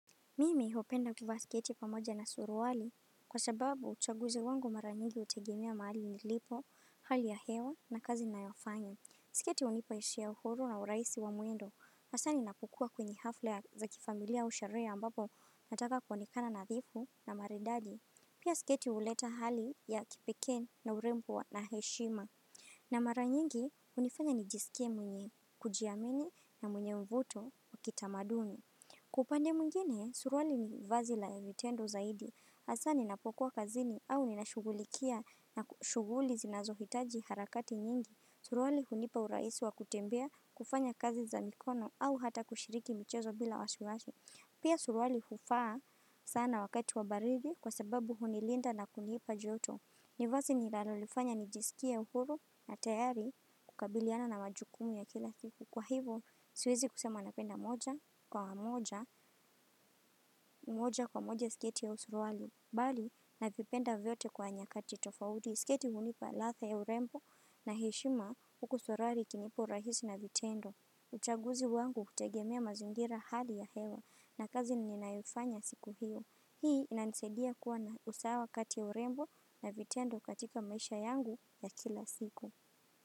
Mimi hupenda kuvaa sketi pamoja na suruwali kwa sababu uchaguzi wangu mara nyingi utegemea mahali nilipo hali ya hewa na kazi nayo fanya Siketi unipa ishia uhuru na urahisi wa mwendo asa ninapokuwa kwenye hafla za kifamilia au sherehe ambapo nataka kuonekana nadhifu na maridadi Pia siketi uleta hali ya kipekee na urembo na heshima na mara nyingi unifanya nijisike mwenye kujiamini na mwenye mvuto wa kitamadumi Kwa ulande mwigine, suruali ni vazi la vitendo zaidi, hasa ninapokuwa kazini au ninashughulikia na shughuli zinazohitaji harakati nyingi Surwali hunipa urahisi wa kutembea, kufanya kazi za mikono au hata kushiriki michezo bila was wasi Pia surwali huvaa sana wakati wa baridi kwa sababu hunilinda na kunipa joto ni vazi nilalolifanya nijisikia uhuru na tayari kukabiliana na majukumu ya kila kitu. Kwa hivo siwezi kusema napenda moja kwa moja, moja kwa moja sketi au suruali. Bali, navipenda vyote kwa nyakati tofauti, sketi hunipa ladha ya urembo na heshima huku suruali ikinipa urahisi na vitendo. Uchaguzi wangu hutegemea mazingira hali ya hewa na kazi ninayofanya siku hiyo. Hii ina nisaidia kuwa na usawa kati ya urembo na vitendo katika maisha yangu ya kila siku.